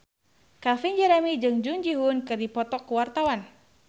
Calvin Jeremy jeung Jung Ji Hoon keur dipoto ku wartawan